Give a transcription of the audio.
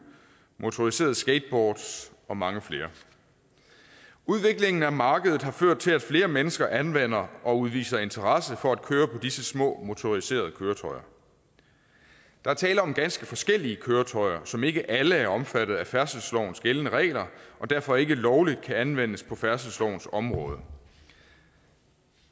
motoriserede skateboards og mange flere udviklingen af markedet har ført til at flere mennesker anvender og udviser interesse for at køre på disse små motoriserede køretøjer der er tale om ganske forskellige køretøjer som ikke alle er omfattet af færdselslovens gældende regler og derfor ikke lovligt kan anvendes på færdselslovens område